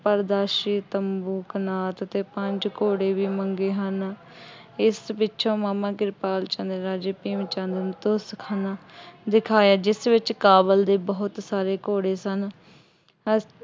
ਪਾਰਦਰਸ਼ੀ ਤੰਬੂ ਕਨਾਤ ਅਤੇ ਪੰਜ ਘੋੜੇ ਵੀ ਮੰਗੇ ਹਨ। ਇਸ ਪਿੱਛੋ ਮਾਮਾ ਕਿਰਪਾਲ ਚੰਦ ਰਾਜਾ ਭੀਮ ਚੰਦ ਨੂੰ ਦੋਸਤਖਾਨਾ ਦਿਖਾਇਆ ਜਿਸ ਵਿੱਚ ਕਾਬੁਲ ਦੇ ਬਹੁਤ ਸਾਰੇ ਘੋੜੇ ਸਨ।